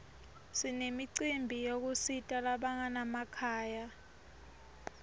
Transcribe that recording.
sinemicimbi yekusita labanganamakhaya